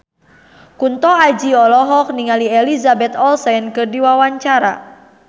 Kunto Aji olohok ningali Elizabeth Olsen keur diwawancara